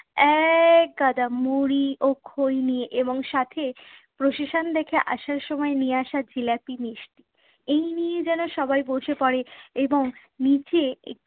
এক গাদা মুড়ি ও খই নিয়ে এবং সাথে procession দেখে আসার সময় নিয়ে আসা জিলাপি মিষ্টি। এই নিয়ে যেন সবাই বসে পড়ে এবং নিচে